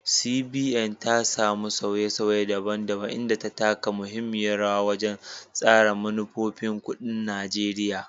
CBN, ta samu sauye-sauye daban-daban, inda ya taka muhimmiyar rawa wajen tsara manufofin kuɗin Najeriya.